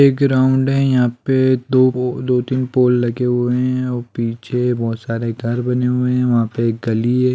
एक ग्राउंड है यहाँ पे दो गो दो तीन पोल लगे हुए हैं और पीछे बहुत सारे घर बने हुए हैं वहाँ पे एक गली है।